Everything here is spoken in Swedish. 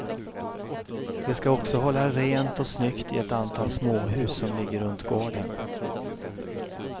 De ska också hålla rent och snyggt i ett antal småhus som ligger runt gården.